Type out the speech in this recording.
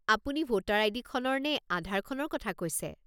আপুনি voter ID. খনৰ নে আধাৰখনৰ কথা কৈছে?